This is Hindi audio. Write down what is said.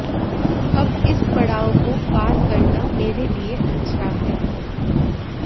अब इस पड़ाव को पार करना मेरे लिए अच्छा है